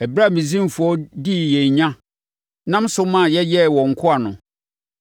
Ɛberɛ a Misraimfoɔ dii yɛn nya nam so ma yɛyɛɛ wɔn nkoa no,